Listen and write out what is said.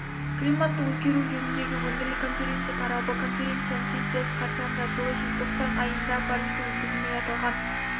климаттың өзгеруі жөніндегі өңірлік конференция тарабы конференциясының сессиясы қарсаңында жылы желтоқсан айында парижде өткізілмек аталған